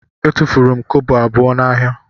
Etufuru m kobo abụọ m n'ahịa.